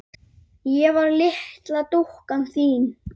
Ég var litla dúkkan þín.